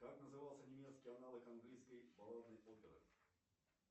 как назывался немецкий аналог английской балладной оперы